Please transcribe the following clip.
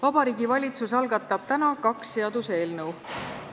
Vabariigi Valitsus algatab täna kaks seaduseelnõu.